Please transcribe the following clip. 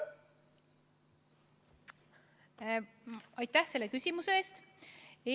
Aitäh selle küsimuse eest!